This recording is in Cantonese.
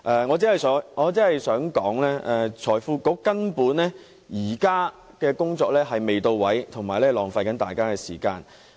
我只想指出，財經事務及庫務局現時的工作根本未到位，是浪費大家的時間。